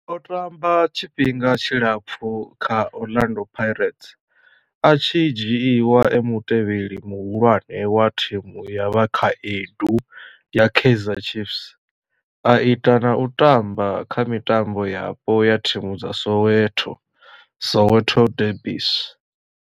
O tamba tshifhinga tshilapfhu kha Orlando Pirates, a tshi dzhiiwa e mutevheli muhulwane wa thimu ya vhakhaedu ya Kaizer Chiefs, a ita na u tamba kha mitambo yapo ya thimu dza Soweto, Soweto derbies.